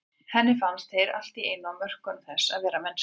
Henni fannst þeir allt í einu á mörkum þess að vera mennskir.